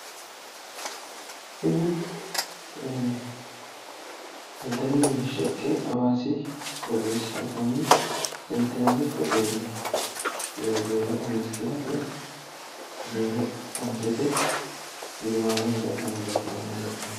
Kuni daddalu mereersha ikke hawaasi qooxeessira anfanni senteraali hoteelle zeero ammistira woyi zeero ontete gudumaale hinge ha'nanni doogo aana leeltanno.